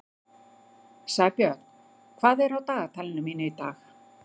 Sæbjörn, hvað er á dagatalinu mínu í dag?